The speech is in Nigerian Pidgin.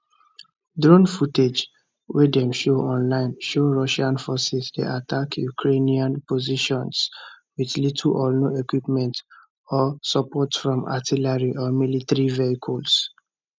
drone footage wey dem share online show russian forces dey attack ukrainian positions with little or no equipment or support from artillery or military vehicles